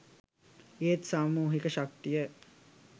ඒත් සාමූහික ශක්තිය